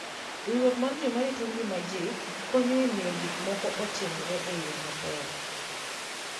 Riwruok mar joma rito ngima ji konyo e miyo gik moko otimre e yo maber.